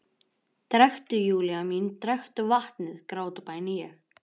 Drekktu, Júlía mín, drekktu vatnið, grátbæni ég.